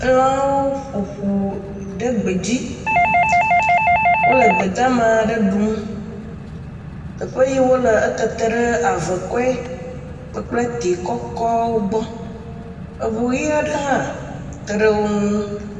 Elãwo ƒo ƒu ɖe gbedzi. Wole gbedamaa ɖe ɖum. Teƒe yɛɛ wole etete ɖe avekɔe kpakple tee kɔkɔɔwo gbɔ. Eŋu ʋi aɖe hã te ɖe wo ŋu.